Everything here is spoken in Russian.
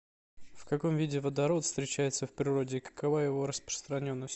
в каком виде водород встречается в природе и какова его распространенность